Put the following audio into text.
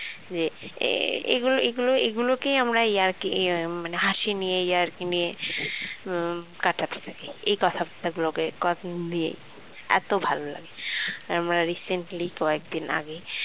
যে এগুলো~ এগুলো এগুলোকেই আমরা ইয়ার্কি মানে হাসি নিয়ে ইয়ার্কি নিয়ে উম কাটাতে থাকি এই কথাবার্তা গুলোকে কদিন দিয়ে এত ভালো লাগে আমরা recently কয়েকদিন আগে